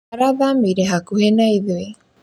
Arathamĩire hakuhĩ na ithuĩ